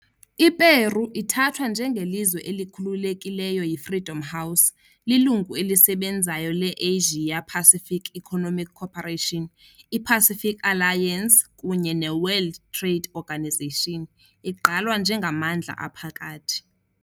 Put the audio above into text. I-Peru ithathwa njengelizwe "elikhululekile" yi-Freedom House, lilungu elisebenzayo le- Asia-Pacific Economic Cooperation, i -Pacific Alliance kunye ne- World Trade Organization, igqalwa njengamandla aphakathi.